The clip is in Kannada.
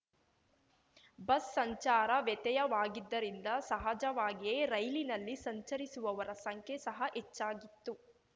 ಬಸ್‌ ಸಂಚಾರ ವ್ಯತ್ಯಯವಾಗಿದ್ದರಿಂದ ಸಹಜವಾಗಿಯೇ ರೈಲಿನಲ್ಲಿ ಸಂಚರಿಸುವವರ ಸಂಖ್ಯೆ ಸಹ ಹೆಚ್ಚಾಗಿತ್ತು